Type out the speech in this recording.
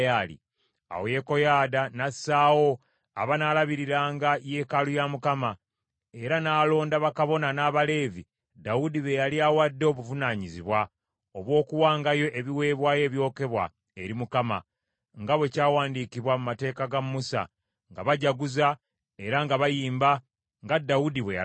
Awo Yekoyaada n’assaawo abanaalabiriranga yeekaalu ya Mukama , era n’alonda bakabona n’Abaleevi Dawudi be yali awadde obuvunaanyizibwa obw’okuwangayo ebiweebwayo ebyokebwa eri Mukama , nga bwe kyawandiikibwa mu mateeka ga Musa, nga bajaguza era nga bayimba, nga Dawudi bwe yalagira.